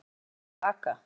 Mann sem er úti að aka!